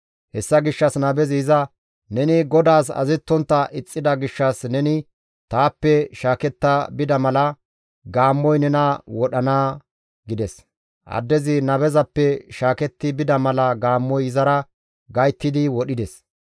Hessa gishshas nabezi iza, «Neni GODAAS azazettontta ixxida gishshas neni taappe shaaketta bida mala gaammoy nena wodhana» gides. Addezi nabezappe shaaketti bida mala gaammoy izara gayttidi wodhides.